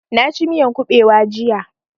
Na ci miyan ƙubewa jiya